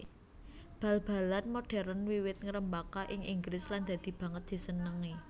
Bal balan modhèrn wiwit ngrembaka ing Inggris lan dadi banget disenengi